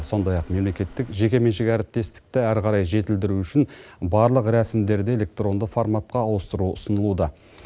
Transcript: сондай ақ мемлекеттік жекеменшік әріптестікті әрі қарай жетілдіру үшін барлық рәсімддері электронды форматқа ауыстыру ұсынылуда